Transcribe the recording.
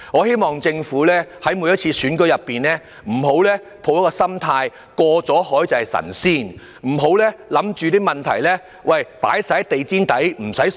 希望政府在每次選舉時，不要抱着"過了海便是神仙"的心態，不要把問題掃進地毯底，便不予正視。